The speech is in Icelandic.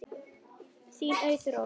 Þín Auður Ósk.